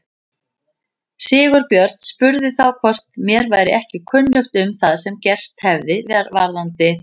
Sigurbjörn spurði þá hvort mér væri ekki kunnugt um það sem gerst hefði varðandi